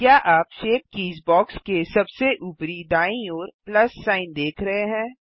क्या आप shape keys box के सबसे ऊपरी दाईं ओर प्लस सिग्न देख रहे हैं